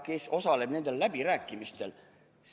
Kes osaleb nendel läbirääkimistel?